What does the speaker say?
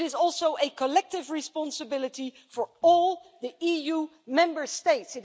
It is also a collective responsibility for all the EU Member States.